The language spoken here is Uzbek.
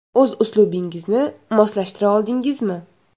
O‘z uslubingizga moslashtira oldingizmi?